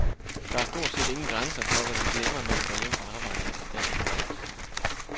Der er stort set ingen grænser for, hvad vi glemmer, når vi går hjem fra arbejde efter dagens dont.